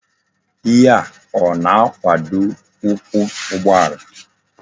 Ihe a o na-akwado ukwu ugboala?